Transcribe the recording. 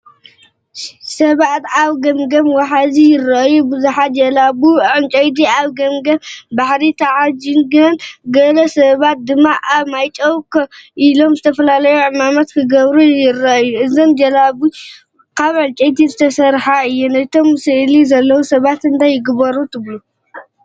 ሰባት ኣብ ገምገም ወሓዚ ይረኣዩ። ብዙሓት ጀላቡ ዕንጨይቲ ኣብ ገምገም ባሕሪ ተዓሺገን፡ ገለ ሰባት ድማ ኣብ ማይ ደው ኢሎም ዝተፈላለየ ዕማማት ክገብሩ ይረኣዩ። እዘን ጀላቡ ካብ ዕንጨይቲ ዝተሰርሓ እየን። እቶም ስእሊ ዘለዉ ሰባት እንታይ ይገብሩ ኣለዉ ትብሉ?